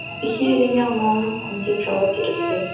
әйтпесе үйрене алмауым мүмкін деп жауап беріпті